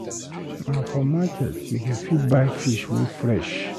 Na for market you go fit buy fish wey fresh.